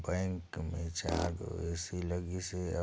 bank में चार गो ए_सी लगिस हे अउ--